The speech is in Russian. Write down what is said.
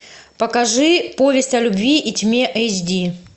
покажи повесть о любви и тьме эйч ди